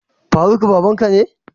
Faruk babanka ne?